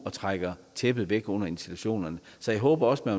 og trækker tæppet væk under institutionerne så jeg håber også at